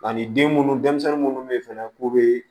Ani den munnu denmisɛnnin minnu bɛ yen fɛnɛ k'u bɛ